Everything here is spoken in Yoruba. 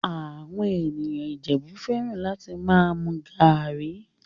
Àwọn ènìyàn Ìjẹ̀bú fẹ́ràn láti máa mu garri